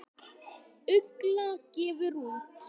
Ugla gefur út.